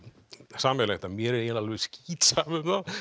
sameiginlegt að mér er eiginlega alveg skítsama um þá